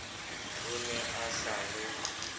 o ne a sa re